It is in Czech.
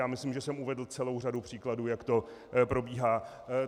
Já myslím, že jsem uvedl celou řadu příkladů, jak to probíhá.